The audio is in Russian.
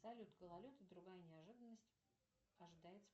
салют гололед и другая неожиданность ожидается